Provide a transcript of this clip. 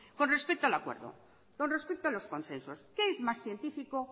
con respecto al acuerdo con respeto a los consensos qué es más científico